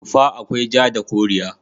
Tufa akwai ja da koriya.